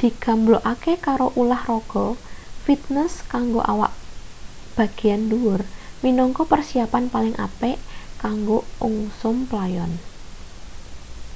digamblokake karo ulah raga fitnes kanggo awak bagean ndhuwur minangka persiyapan paling apik kanggo ungsum playon